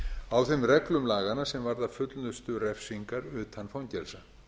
á þeim reglum laganna sem varða fullnustu refsingar utan fangelsa